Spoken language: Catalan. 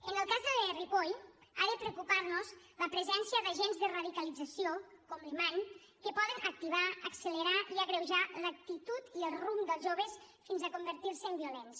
en el cas de ripoll ha de preocupar nos la presència d’agents de radicalització com l’imam que poden activar accelerar i agreujar l’actitud i el rumb dels joves fins a convertir se en violents